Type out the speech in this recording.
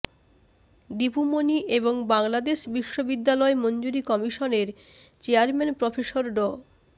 দীপু মনি এবং বাংলাদেশ বিশ্ববিদ্যালয় মঞ্জুরি কমিশনের চেয়ারম্যান প্রফেসর ড